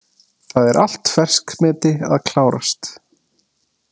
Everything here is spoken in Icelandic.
Það er allt ferskmeti að klárast.